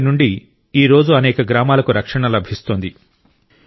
దాని నుండి ఈరోజు అనేక గ్రామాలకు రక్షణ లభిస్తోంది